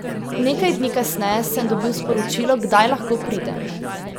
Nekaj dni kasneje sem dobil sporočilo, kdaj lahko pridem.